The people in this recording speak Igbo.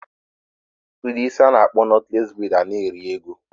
Udi isi ana akpo knotless braid ana eri ego?